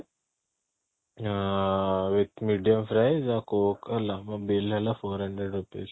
ଆଁ medium fry ଆଉ coke ହେଲା ମୋ bill ହେଲା four hundred rupees